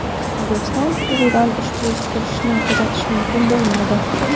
O‘zbekiston hududidan ushbu tutilishni kuzatish mumkin bo‘lmaydi.